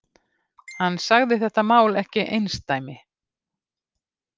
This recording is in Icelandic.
Hann sagði þetta mál ekki einsdæmi